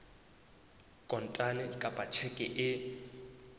kontane kapa ka tjheke e